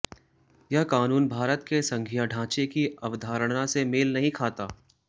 यह कानून भारत के संघीय ढांचे की अवधारणा से मेल नहीं खाता